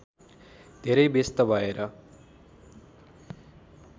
धेरै व्यस्त भएर